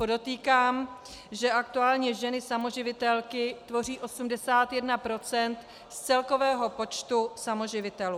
Podotýkám, že aktuálně ženy samoživitelky tvoří 81 % z celkového počtu samoživitelů.